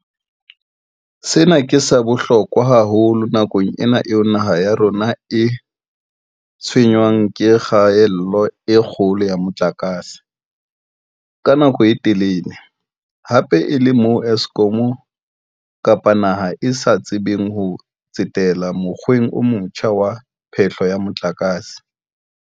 Sena ke sa bohlokwa haholo nakong ena eo naha ya rona e tshwenngwang ke kgaello e kgolo ya motlakase, ka nako e telele, hape e le moo Eskom kapa naha e sa tsebeng ho tsetela mokgweng o motjha wa phehlo ya motlakase.